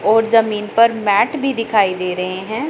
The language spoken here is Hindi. और जमीन पर मैट भी दिखाई दे रहे हैं।